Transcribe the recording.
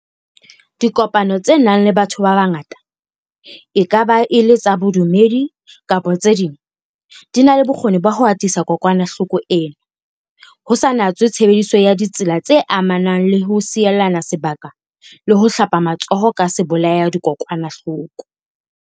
Dipokano tse nang le batho ba bangata, e ka ba e le tsa bodumedi kapa tse ding, di na le bokgoni ba ho atisa kokwanahloko ena, ho sa natswe tshebediso ya ditsela tse amanang le ho sielana se baka le ho hlapa matsoho ka sebolaya-dikokwanahloko.